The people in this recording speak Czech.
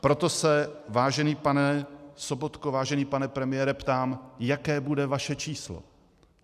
Proto se, vážený pane Sobotko, vážený pane premiére, ptám, jaké bude vaše číslo.